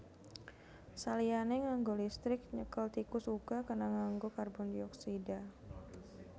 Saliyané nganggo listrik nyekel tikus uga kena nganggo karbondioksida